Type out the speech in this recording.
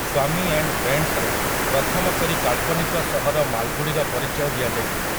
ସ୍ୱାମୀ and ଫ୍ରେଣ୍ଡସ୍'ରେ ପ୍ରଥମ କରି କାଳ୍ପନିକ ସହର ମାଲଗୁଡ଼ିର ପରିଚୟ ଦିଆଯାଇଥିଲା ।